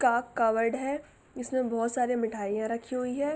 का कबड है इसमें बहुत सारी मिठाइयॉँ रखी हुई हैं।